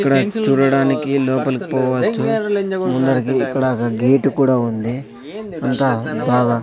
ఇక్కడ చూడడానికి లోపలికి పోవచ్చు ముందరికి ఇక్కడ ఒక గేటు కూడా ఉంది అంతా బాగా --